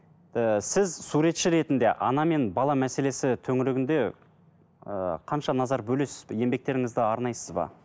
ііі сіз суретші ретінде ана мен бала мәселесі төңірегінде ыыы қанша назар бөлесіз еңбектеріңізді арнайсыз ба